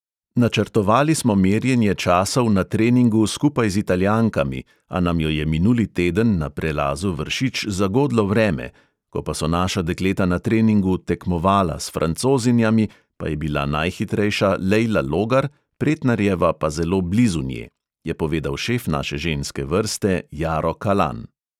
"Načrtovali smo merjenje časov na treningu skupaj z italijankami, a nam jo je minuli teden na prelazu vršič zagodlo vreme, ko pa so naša dekleta na treningu "tekmovala" s francozinjami pa je bila najhitrejša lejla logar, pretnarjeva pa zelo blizu nje," je povedal šef naše ženske vrste jaro kalan.